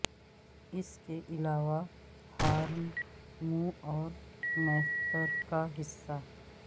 اس کے علاوہ ہارن منہ اور مھپتر کا حصہ